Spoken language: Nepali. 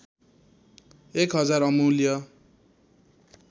१ हजार अमूल्य